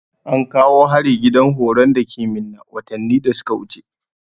Ankawo hari gidan horon dake minna watanni da suka wuce